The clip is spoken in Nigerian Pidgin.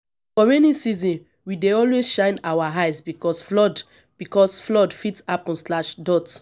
for rainy season we dey always shine our eyes because flood because flood fit happen.